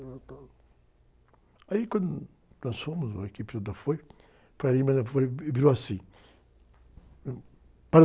Aí, quando nós fomos, a equipe toda foi, o foi e virou assim